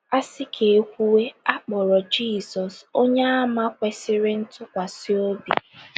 A sị ka e kwuwe, a kpọrọ Jizọs “ Onye Àmà Kwesịrị Ntụkwasị Obi. ”